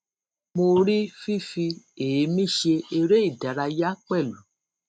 mo rí fífi èémí ṣe eré ìdárayá pẹlú